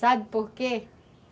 Sabe por quê?